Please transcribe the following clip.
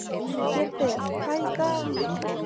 Gyrðir, hvað er í dagatalinu í dag?